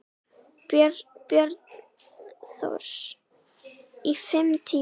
Björn Thors: Í fimm tíma?